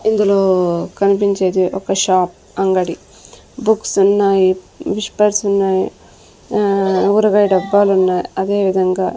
ఇందులో కన్పించేది ఒక షాప్ అంగడి బుక్స్ ఉన్నాయి విష్పర్స్ ఉన్నాయి ఆ ఊరగాయ డబ్బాలున్నాయి అదేవిధంగా --